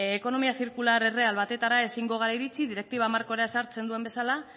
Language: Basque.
ekonomia zirkular erreal batetara ezingo gara iritsi direktiba markoak ezartzen duen bezala